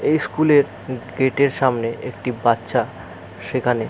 এই স্কুলের উ গেটের সামনে একটি বাচ্চা সেখানে--